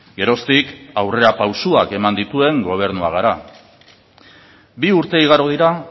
geroztik aurrerapausoak eman dituen gobernua gara bi urte igaro dira